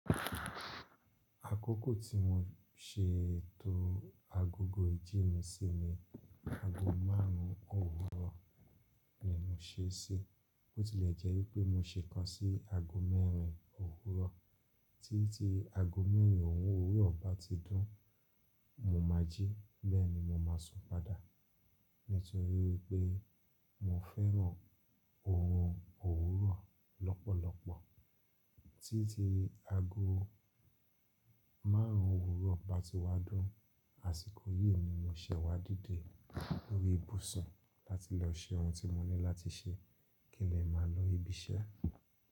Àkókò tí mo ṣe etó agogo ìjí mi sí ni ago márùn-ún òwúrọ̀ ni mo ṣe ṣí. Bo tilẹ̀ jẹ́ wípé mo ṣe ikán sí ago mẹ́rin òwúrọ̀. Títí ago mẹ́rin òwúrọ̀ bá ti dún, mo má jí, bẹ́ẹ̀ ni mo máa sùn padà. Nítorí wípé mo fẹ́ràn orun òwúrọ̀ lọ́pọ̀lọpọ̀. Títí ago márùn-ún òwúrọ̀ bá ti wá dún, àsìkò yìí ni mo ṣẹ̀ wá díde lórí ìbùsùn láti lọ ṣe ohun tí mo ní láti ṣe, kí n lè máa lọ ibi iṣẹ́.